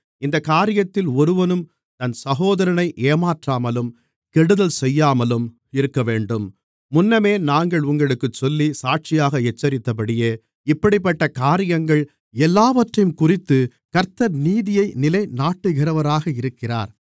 இந்தக் காரியத்தில் ஒருவனும் தன் சகோதரனை ஏமாற்றாமலும் கெடுதல் செய்யாமலும் இருக்கவேண்டும் முன்னமே நாங்கள் உங்களுக்குச் சொல்லி சாட்சியாக எச்சரித்தபடியே இப்படிப்பட்டக் காரியங்கள் எல்லாவற்றையும்குறித்துக் கர்த்தர் நீதியை நிலைநாட்டுகிறவராக இருக்கிறார்